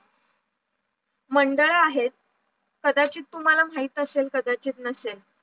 मंडळ आहेत, कदाचित तुम्हाला माहित असेल कदाचित नसेल